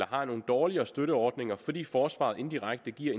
har nogle dårligere støtteordninger fordi forsvaret indirekte giver